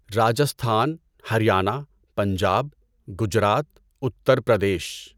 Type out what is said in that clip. Rajasthan, Haryana, Punjab, Gujarat, Uttar Pradesh